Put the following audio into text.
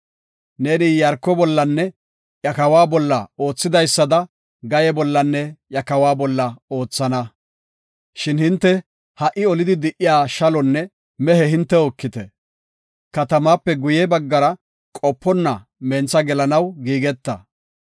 Neeni Iyaarko bollanne iya kawa bolla oothidaysada Gaye bollanne iya kawa bolla oothana. Shin hinte ha77i olidi di7iya shalonne mehe hintew ekite. Katamaape guye baggara qoponna mentha gelanaw giigeta.”